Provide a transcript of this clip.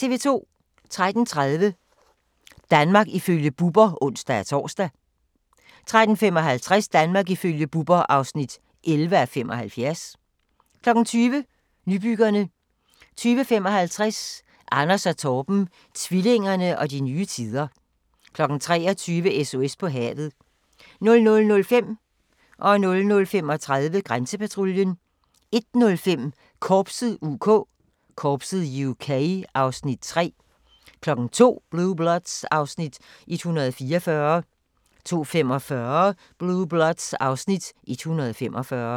13:30: Danmark ifølge Bubber (ons-tor) 13:55: Danmark ifølge Bubber (11:75) 20:00: Nybyggerne 20:55: Anders & Torben - tvillingerne og de nye tider 23:00: SOS på havet 00:05: Grænsepatruljen 00:35: Grænsepatruljen 01:05: Korpset (UK) (Afs. 3) 02:00: Blue Bloods (Afs. 144) 02:45: Blue Bloods (Afs. 145)